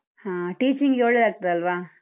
ಹ, teaching ಗೆ ಒಳ್ಳೇದಾಗ್ತದಲ್ವಾ?